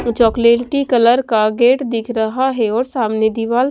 chocolate की colour का gate दिख रहा हैं और सामने दीवाल --